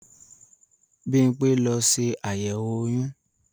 Bímpé lọ ṣe àyẹ̀wò oyún